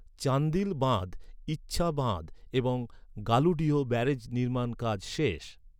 চান্দিল বাঁধ, ইছা বাঁধ এবং গালুডিহ ব্যারাজের নির্মাণ কাজ শেষ।